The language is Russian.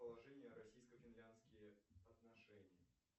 положения российско финляндские отношения